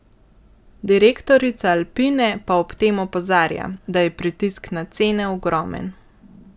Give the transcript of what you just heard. Direktorica Alpine pa ob tem opozarja, da je pritisk na cene ogromen.